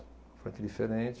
Frente diferente.